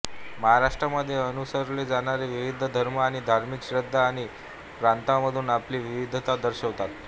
महाराष्ट्रामध्ये अनुसरले जाणारे विविध धर्म हे धार्मिक श्रद्धा आणि प्रथांमधून आपली विविधता दर्शवितात